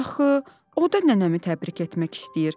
Axı o da nənəmi təbrik etmək istəyir.